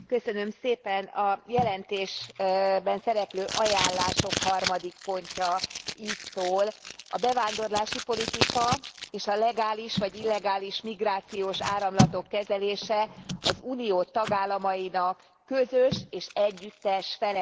A jelentésben szereplő ajánlások harmadik pontja így szól a bevándorlási politika és a legális vagy illegális migrációs áramlatok kezelése az Unió tagállamainak közös és együttes felelőssége.